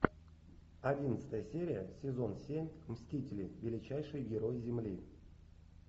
одиннадцатая серия сезон семь мстители величайшие герои земли